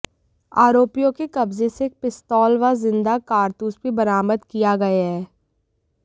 आरोपियों के कब्जे से एक पिस्तौल व जिंदा कारतूस भी बरामद किया गए हैं